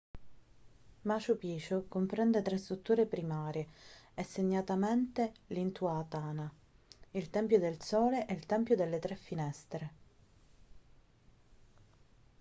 machu picchu comprende tre strutture primarie e segnatamente l'intihuatana il tempio del sole e il tempio delle tre finestre